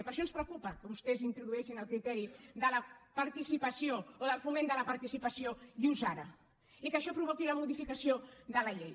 i per això ens preocupa que vostès introdueixin el criteri de la participació o del foment de la participació just ara i que això provoqui la modificació de la llei